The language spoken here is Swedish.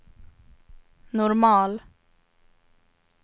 normal